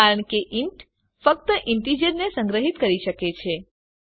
કારણ કે ઇન્ટ ફક્ત ઈન્ટીજરને સંગ્રહીત કરી શકે છે